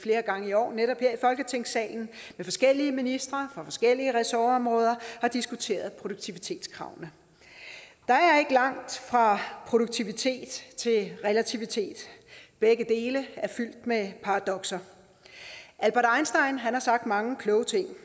flere gange i år netop her i folketingssalen med forskellige ministre fra forskellige ressortområder har diskuteret produktivitetskravene der er ikke langt fra produktivitet til relativitet begge dele er fyldt med paradokser albert einstein har sagt mange kloge ting